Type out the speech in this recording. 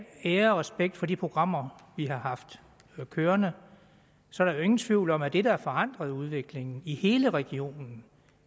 ære og respekt for de programmer vi har haft kørende så er der ingen tvivl om at det der har forandret udviklingen i hele regionen